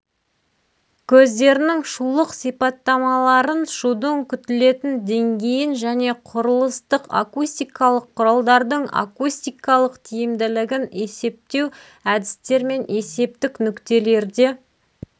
көздерінің шулық сипаттамаларын шудың күтілетін деңгейін және құрылыстық-акустикалық құралдардың акустикалық тиімділігін есептеу әдістермен есептік нүктелерде